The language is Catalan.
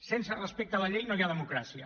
sense respecte a la llei no hi ha democràcia